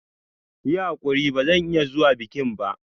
Yi hakuri ba zan iya zuwa bikin ba.